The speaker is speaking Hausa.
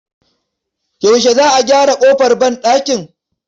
Yaushe Za a gyara ƙofar banɗakin?